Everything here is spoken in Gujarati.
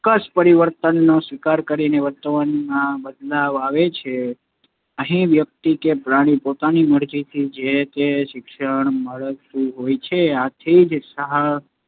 ચોક્કસ પરિવર્તનનો સ્વીકાર કરીને વર્તનમાં બદલાવ લાવે છે. અહીં વ્યક્તિ કે પ્રાણી પોતાની મરજીથી જે તે શિક્ષણ મેળવતું હોય છે, આથી જ સાહ